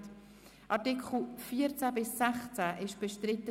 Die Artikel 14 bis 16 sind seitens der Grünen bestritten;